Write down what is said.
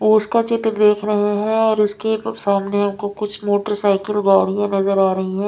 उसका चित्र देख रहे हैं और उसके प सामने हमको कुछ मोटरसाइकिल गाड़ियाँ है नजर आ रही हैं।